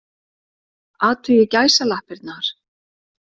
Athugið gæsalappirnar.